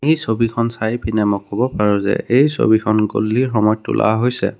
এই ছবিখন চাই পিনে মই ক'ব পাৰো যে এই ছবিখন গধূলিৰ সময়ত তোলা হৈছে।